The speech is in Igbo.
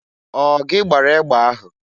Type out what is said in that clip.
Ọ gị gbara egbe ahụ?